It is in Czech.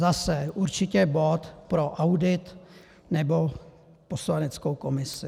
Zase, určitě bod pro audit nebo poslaneckou komisi.